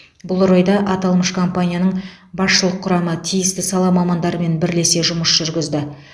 бұл орайда аталмыш компанияның басшылық құрамы тиісті сала мамандарымен бірлесе жұмыс жүргізді